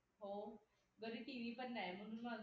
हो घरी tv पण नाही म्हणून म्हणलं